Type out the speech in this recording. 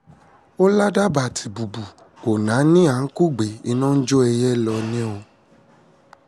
ó ládàbà tìtùbù ò náání à ń kúgbe iná ń jó ẹyẹ ń lọ ni o